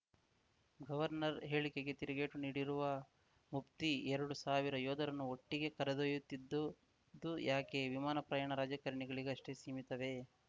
governor ಹೇಳಿಕೆಗೆ ತಿರುಗೇಟು ನೀಡಿರುವ ಮುಫ್ತಿ ಎರಡು ಸಾವಿರ ಯೋಧರನ್ನು ಒಟ್ಟಿಗೆ ಕರೆದೊಯ್ಯುತ್ತಿದ್ದದ್ದು ಯಾಕೆ ವಿಮಾನ ಪ್ರಯಾಣ ರಾಜಕಾರಣಿಗಳಿಗಷ್ಟೇ ಸೀಮಿತವೇ